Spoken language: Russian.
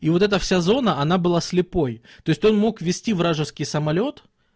и вот это вся зона она была слепой то есть он мог вести вражеский самолёт